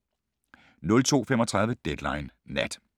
02:35: Deadline Nat